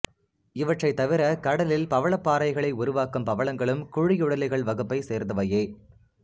இவற்றைத்தவிர கடலில் பவளப் பாறைகளை உருவாக்கும் பவளங்களும் குழியுடலிகள் வகுப்பைச் சேர்ந்தவையே